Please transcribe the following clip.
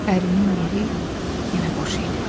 Ərinin yeri yenə boş idi.